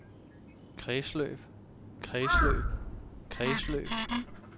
kredsløb kredsløb kredsløb